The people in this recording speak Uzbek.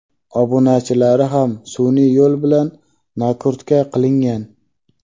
Obunachilari ham sun’iy yo‘l bilan "nakrutka" qilingan!.